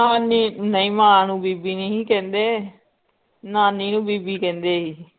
ਨਾਨੀ ਨਈ ਮਾਂ ਨੂੰ ਬੀਬੀ ਨਈ ਹੀ ਕਹਿੰਦੇ ਨਾਨੀ ਨੂੰ ਬੀਬੀ ਕਹਿੰਦੇ ਹੀ